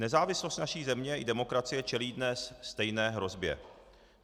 Nezávislost naší země i demokracie čelí dnes stejné hrozbě.